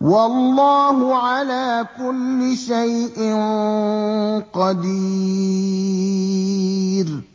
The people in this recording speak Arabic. وَاللَّهُ عَلَىٰ كُلِّ شَيْءٍ قَدِيرٌ